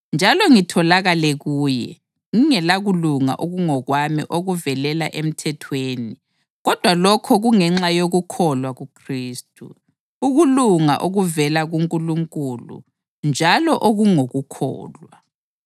njalo ngitholakale kuye, ngingelakulunga okungokwami okuvelela emthethweni, kodwa lokho kungenxa yokukholwa kuKhristu, ukulunga okuvela kuNkulunkulu njalo okungokukholwa.